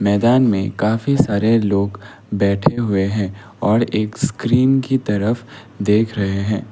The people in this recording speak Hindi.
मैदान में काफी सारे लोग बैठे हुए हैं और एक स्क्रीन की तरफ़ देख रहे हैं।